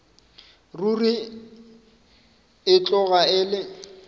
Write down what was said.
ruri e tloga e le